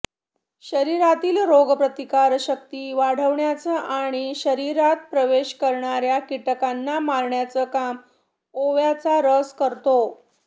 शरीरातील रोगप्रतिकारक शक्ती वाढवण्याचं आणि शरीरात प्रवेश करणाऱ्या किटाणूंना मारण्याचं काम ओव्याचा रस करतो